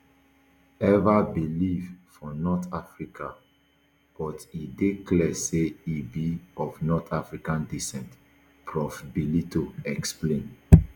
[ever] live for north africa but e dey clear say e be of north african descent prof bellitto explain